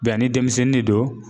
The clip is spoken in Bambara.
ni denmisɛnnin de don